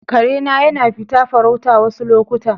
Kare na yana fita farauta wassu lokuta.